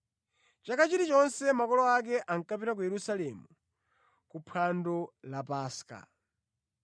Chaka chilichonse makolo ake ankapita ku Yerusalemu ku phwando la Paska.